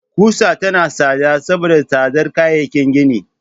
Ƙusa tana tsada saboda tsadar kayayyakin gini.